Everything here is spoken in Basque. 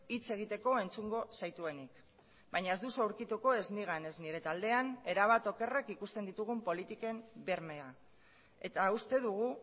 hitz egiteko entzungo zaituenik baina ez duzu aurkituko ez nigan ez nire taldean erabat okerrak ikusten ditugun politiken bermea eta uste dugu